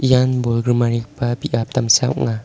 ian bolgrimarigipa biap damsa ong·a.